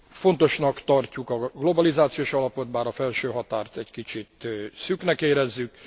Fontosnak tartjuk a globalizációs alapot, bár a felső határt egy kicsit szűknek érezzük.